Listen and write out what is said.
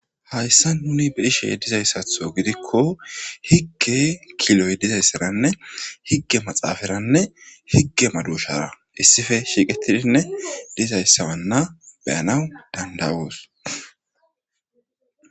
Hayissani nuninuni be'ishe dizayisatho gidiko higge kiloyi diysarane higge maxaferane higge madoshara issipe shiqetidi dizayissa be'anawu danidayosi.